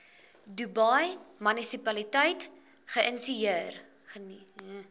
dubai munisipaliteit geïnisieer